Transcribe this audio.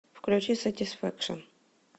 включи сатисфэкшн